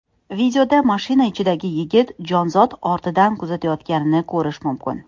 Videoda mashina ichidagi yigit jonzot ortidan kuzatayotganini ko‘rish mumkin.